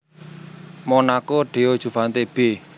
Monako Deo juvante b